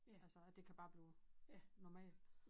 Altså at det kan bare blive normal